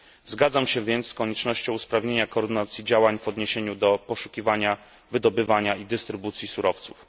Zgadzam się więc z koniecznością usprawnienia koordynacji działań w odniesieniu do poszukiwania, wydobywania i dystrybucji surowców.